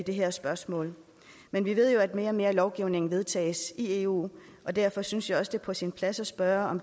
det her spørgsmål men vi ved jo at mere og mere lovgivning vedtages i eu og derfor synes jeg også det er på sin plads at spørge